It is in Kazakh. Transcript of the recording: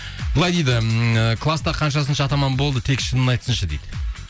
былай дейді ммм ы класста қаншасыншы атаман болды тек шынын айтсыншы дейді